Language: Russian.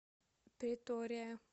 претория